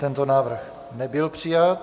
Tento návrh nebyl přijat.